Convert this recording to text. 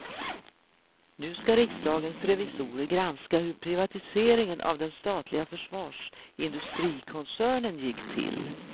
Nu ska riksdagens revisorer granska hur privatiseringen av den statliga försvarsindustrikoncernen gick till.